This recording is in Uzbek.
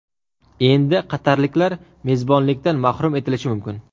Endi qatarliklar mezbonlikdan mahrum etilishi mumkin.